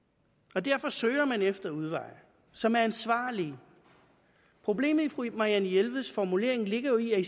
og derfor søger man efter udveje som er ansvarlige problemet i fru marianne jelveds formulering ligger jo